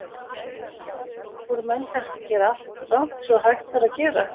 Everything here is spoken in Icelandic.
Kristján: Voru menn kannski að gera allt rangt sem hægt var að gera?